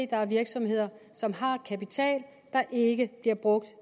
der er virksomheder som har kapital der ikke bliver brugt